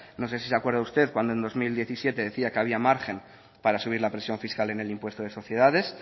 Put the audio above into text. no sé si se acuerda usted cuando en dos mil diecisiete decía que había margen para subir la presión fiscal en el impuesto de sociedades